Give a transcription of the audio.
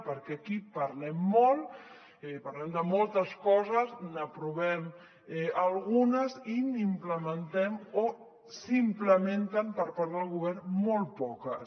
perquè aquí parlem molt parlem de moltes coses n’aprovem algunes i n’implementem o se n’implementen per part del govern molt poques